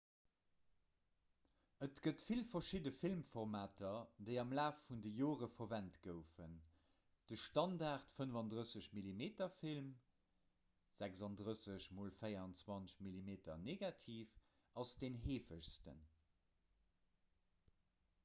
et gëtt vill verschidde filmformater déi am laf vun de jore verwent goufen. de standard-35-mm-film 36-x-24-mm-negativ ass den heefegsten